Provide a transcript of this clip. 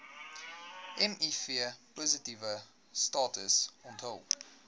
mivpositiewe status onthul